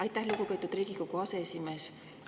Aitäh, lugupeetud Riigikogu aseesimees!